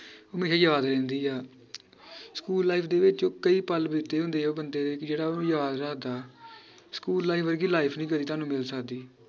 ਹਮੇਸ਼ਾ ਯਾਦ ਰਹਿੰਦੀ ਆ school life ਦੇ ਵਿਚ ਕਈ ਪੱਲ ਬੀਤੇ ਹੁੰਦੇ ਆ ਉਹ ਬੰਦੇ ਦੇ ਜਿਹੜਾ ਓਹਨੂੰ ਯਾਦ ਰੱਖਦਾ school life ਵਰਗੀ life ਨੀ ਕਦੀ ਤੁਹਾਨੂੰ ਮਿਲ ਸਕਦੀ